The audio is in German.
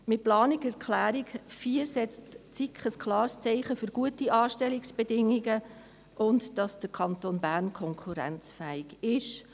Mit der Planungserklärung 4 setzt die SiK ein klares Zeichen für gute Anstellungsbedingungen und dafür, dass der Kanton Bern konkurrenzfähig ist.